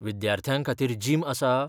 विद्यार्थ्यां खातीर जिम आसा?